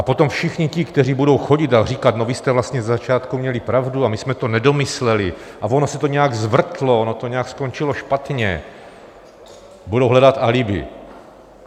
A potom všichni ti, kteří budou chodit a říkat: No, vy jste vlastně ze začátku měli pravdu a my jsme to nedomysleli, a ono se to nějak zvrtlo, ono to nějak skončilo špatně - budou hledat alibi.